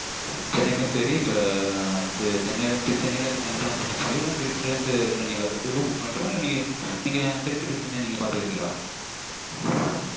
சென்னைக்கும் சரி இப்ப சென்னைலருந்து கலிஃபொர்னியாக்கும் இல்ல திருச்சில இருந்து சென்னன ரெண்டுக்கும் book பண்ணிறட்டுமா இல்ல திருச்சில இருந்து சென்னை நீங்க பாத்துகிடுதீங்களா